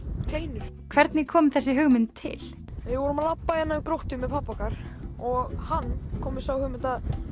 kleinur hvernig kom þessi hugmynd til við vorum að labba hérna hjá Gróttu með pabba okkar og hann kom með þá hugmynd